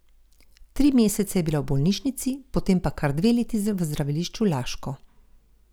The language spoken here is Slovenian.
Tri mesece je bila v bolnišnici, potem pa kar dve leti v zdravilišču Laško.